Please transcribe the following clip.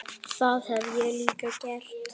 Það hef ég líka gert.